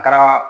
N taara